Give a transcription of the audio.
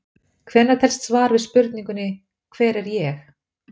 Hvenær telst svar við spurningunni Hver er ég?